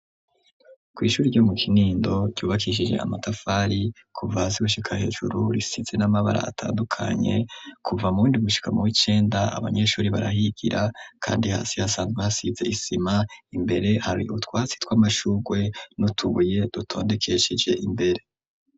Kw'ishuri ryo mu Kinindo ryubakishije amatafari kuva hasi gushika hejuru, risize n'amabara atandukanye kuva mu w'indwi gushika mu w'icenda, abanyeshuri barahigira kandi hasi hasanzwe hasize isima. Imbere hari utwasi tw'amashurwe n'utubuye dutondekeshije imbere.